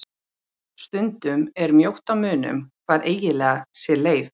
Stundum er mjótt á munum hvað eiginlega sé leif.